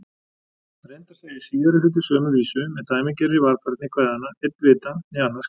Reyndar segir síðari hluti sömu vísu, með dæmigerðri varfærni kvæðanna: Einn vita né annar skal.